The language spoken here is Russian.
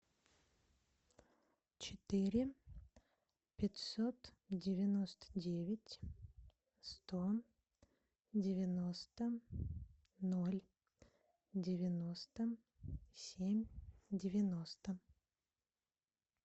четыре пятьсот девяносто девять сто девяносто ноль девяносто семь девяносто